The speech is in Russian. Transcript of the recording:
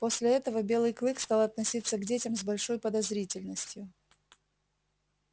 после этого белый клык стал относиться к детям с большой подозрительностью